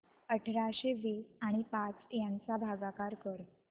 अठराशे वीस आणि पाच यांचा भागाकार कर